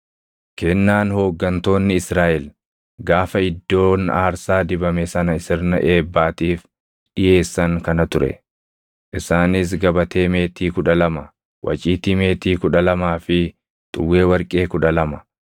Kennaan hooggantoonni Israaʼel gaafa iddoon aarsaa dibame sana sirna eebbaatiif dhiʼeessan kana ture; isaanis gabatee meetii kudha lama, waciitii meetii kudha lamaa fi xuwwee warqee kudha lama: